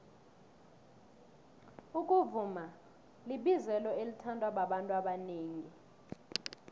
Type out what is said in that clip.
ukuvuma libizelo elithandwa babantu abanengi